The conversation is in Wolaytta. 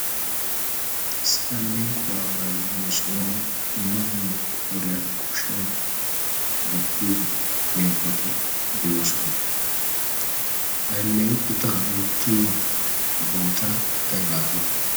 issi alleequwaa baiiyo sohuwan dumma dumma qooriyan kushshiyan hoottiyo alleeqoti de7oosona. alleeqota woottiyo boota aibaagiyo?